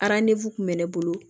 kun bɛ ne bolo